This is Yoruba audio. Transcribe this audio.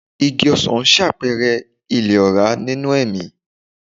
Igi ọsan ṣàpẹẹrẹ ilẹ̀ ọ̀rá nínú ẹ̀mí.